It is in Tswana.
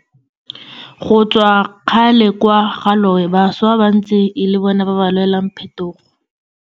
Go tswa kgale kwa ga loe bašwa ba ntse e le bona ba ba lwelang phetogo.